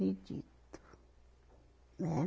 né.